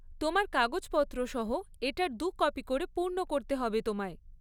তোমার কাগজপত্র সহ এটার দু'কপি করে পূর্ণ করতে হবে তোমায়।